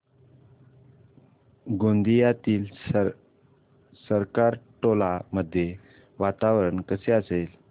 गोंदियातील सरकारटोला मध्ये वातावरण कसे असेल